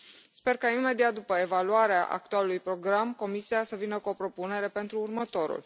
Sper ca, imediat după evaluarea actualului program, Comisia să vină cu o propunere pentru următorul.